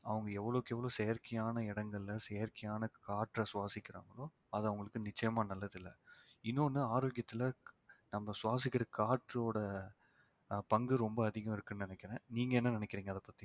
அவங்க எவ்வளவுக்கு எவ்வளவு செயற்கையான இடங்களிலே செயற்கையான காற்றை சுவாசிக்கிறாங்களோ அது அவங்களுக்கு நிச்சயமா நல்லதில்லை இன்னொன்னு ஆரோக்கியத்துல நம்ம சுவாசிக்கிற காற்றோட ஆஹ் பங்கு ரொம்ப அதிகம் இருக்குன்னு நினைக்கிறேன் நீங்க என்ன நினைக்கிறீங்க அதை பத்தி